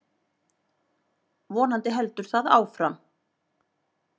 Vonandi heldur það áfram.